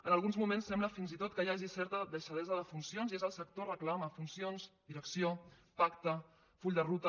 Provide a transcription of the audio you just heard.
en alguns moments sembla fins i tot que hi hagi certa deixadesa de funcions i és el sector que reclama funcions direcció pacte full de ruta